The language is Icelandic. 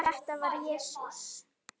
Þetta var Jesús